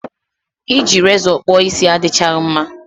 I ji rezọ kpụọ isi adịchaghị mma